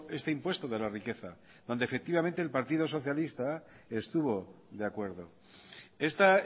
este impuesto de la riqueza donde efectivamente el partido socialista estuvo de acuerdo esta